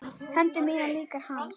Hendur mínar líka hans.